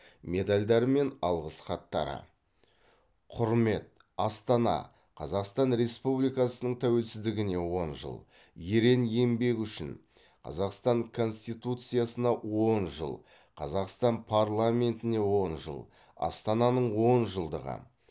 медальдары мен алғыс хаттары құрмет астана қазақстан республикасының тәуелсіздігіне он жыл ерен еңбегі үшін қазақстан конституциясына он жыл қазақстан парламентіне он жыл астананың он жылдығы